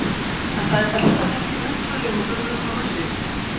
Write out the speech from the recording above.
Hann sagðist ætla á útihátíðina í Vestmannaeyjum og bauð mér að koma með sér.